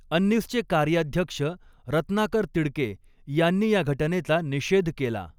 अंनिसचे कार्याध्यक्ष रत्नाकर तिडके यांनी या घटनेचा निषेध केला.